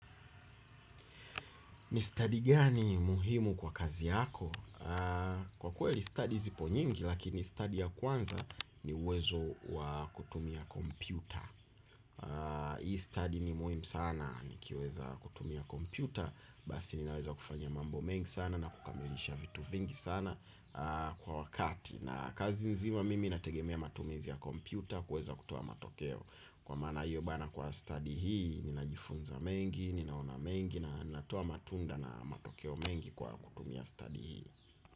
Ni stadi gani muhimu kwa kazi yako? Kwa kweli studi zipo nyingi lakini studi ya kwanza ni uwezo wa kutumia kompyuta. Hii studi ni muhimu sana nikiweza kutumia kompyuta. Basi ninaweza kufanya mambo mengi sana na kukamilisha vitu vingi sana kwa wakati na kazi nzima mimi nategemea matumizi ya kompyuta kuweza kutoa matokeo. Kwa maana hio bana kwa studi hii, ninajifunza mengi, ninaona mengi na natoa matunda na matokeo mengi kwa kutumia studi hii.